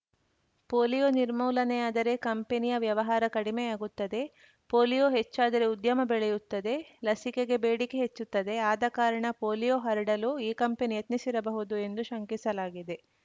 polio ನಿರ್ಮೂಲನೆಯಾದರೆ ಕಂಪನಿಯ ವ್ಯವಹಾರ ಕಡಿಮೆಯಾಗುತ್ತದೆ ಪೋಲಿಯೋ ಹೆಚ್ಚಾದರೆ ಉದ್ಯಮ ಬೆಳೆಯುತ್ತದೆ ಲಸಿಕೆಗೆ ಬೇಡಿಕೆ ಹೆಚ್ಚುತ್ತದೆ ಆದ ಕಾರಣ ಪೋಲಿಯೋ ಹರಡಲು ಈ ಕಂಪನಿ ಯತ್ನಿಸಿರಬಹುದು ಎಂದು ಶಂಕಿಸಲಾಗಿದೆ